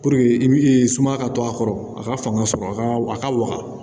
i bi sumaya ka to a kɔrɔ a ka fanga sɔrɔ a ka a ka wa